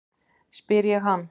spyr ég hann.